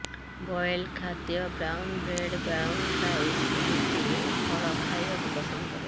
boiled ଖାଦ୍ୟ brown bread brown rice ରୁଟି ଓ ଫଳ ଖାଇବାକୁ ପସନ୍ଦ କରେ